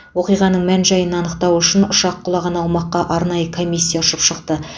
оқиғаның мән жайын анықтау үшін ұшақ құлаған аумаққа арнайы комиссия ұшып шықты